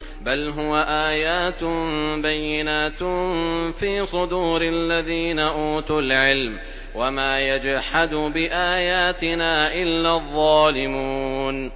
بَلْ هُوَ آيَاتٌ بَيِّنَاتٌ فِي صُدُورِ الَّذِينَ أُوتُوا الْعِلْمَ ۚ وَمَا يَجْحَدُ بِآيَاتِنَا إِلَّا الظَّالِمُونَ